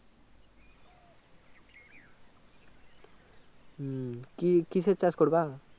হম কি কিসের চাষ করবা